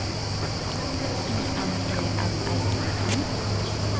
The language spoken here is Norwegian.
I M E L L O M